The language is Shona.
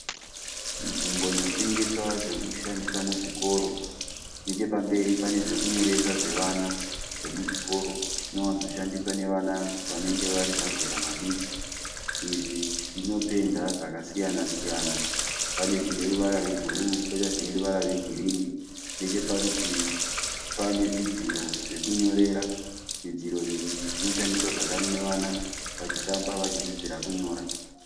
Nzvimbo inotengeswa zvokushandisa muzvikoro nechepamberi pane zvekunyoresa zvevana zvemu zvikoro zviwanzo shandiswa nevana vanenge vari mazera madiki izvi zvinopenda zvakasiyana siyana pane zvine ruvara rwebhuruu poita zvine ruvara rwegirini necheparutivi pane zvidziro zvekunyorera, zvidziro izvi zvinoshandiswa zvakare nevana vachitamba vachidzidzira kunyora.